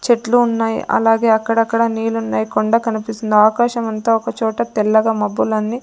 చెట్లు ఉన్నాయి అలాగే అక్కడక్కడ నీళ్ళున్నాయి కొండ కనిపిస్తుంది ఆకాశమంతా ఒకచోట తెల్లగా మబ్బులన్నీ --